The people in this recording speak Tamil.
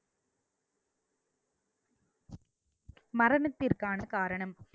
மரணத்திற்கான காரணம்